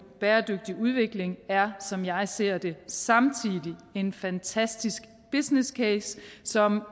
bæredygtig udvikling er som jeg ser det samtidig en fantastisk business case som